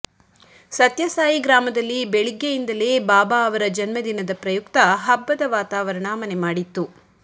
ಸತ್ಯಸಾಯಿ ಗ್ರಾಮದಲ್ಲಿ ಬೆಳಿಗ್ಗೆಯಿಂದಲೇ ಬಾಬಾ ಅವರ ಜನ್ಮದಿನದ ಪ್ರಯುಕ್ತ ಹಬ್ಬದ ವಾತಾವರಣ ಮನೆ ಮಾಡಿತ್ತು